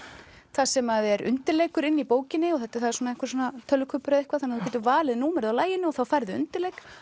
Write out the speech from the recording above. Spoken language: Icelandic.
þar sem er undirleikur inni í bókinni það er þannig að þú getur valið númerið á laginu og þá færðu undirleik